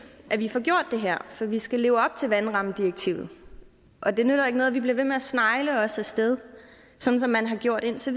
at vi får gjort det her for vi skal leve op til vandrammedirektivet og det nytter ikke noget at vi bliver ved med at snegle os af sted sådan som man har gjort hidtil